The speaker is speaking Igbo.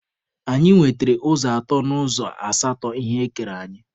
Anyị nwetere ụzọ atọ n'ụzọ asatọ ihe ekere anyị.